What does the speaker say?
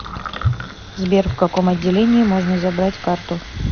сбер в каком отделении можно забрать карту